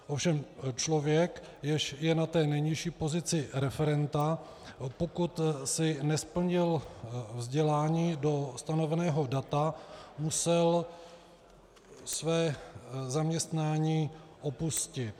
Ovšem člověk, jenž je na té nejnižší pozici referenta, pokud si nesplnil vzdělání do stanoveného data, musel své zaměstnání opustit.